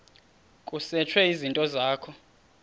kusetshwe izinto zakho